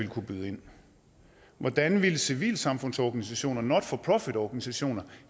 kunne byde ind hvordan ville civilsamfundsorganisationer og not for profit organisationer